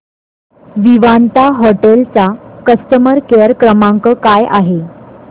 Vivanta hotel चा customer care क्रमांक काय आहे